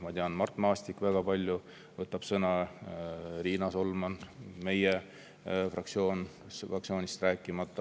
Ma tean, et Mart Maastik võtab väga palju sõna, ka Riina Solman, meie fraktsioonist rääkimata.